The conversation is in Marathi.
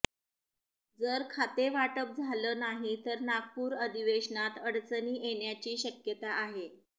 जर खातेवाटप झालं नाही तर नागपूर अधिवेशनात अडचणी येण्याची शक्यता आहे